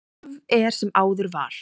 Af er sem áður var.